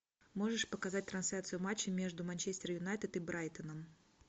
можешь показать трансляцию матча между манчестер юнайтед и брайтоном